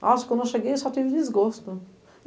Nossa, quando eu cheguei, eu só tive desgosto.